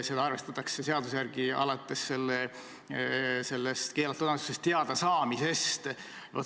Seda arvestatakse seaduse järgi alates keelatud annetusest teadasaamisest.